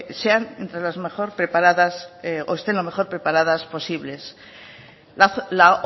sean entre las mejor preparadas o estén lo mejor preparadas posibles la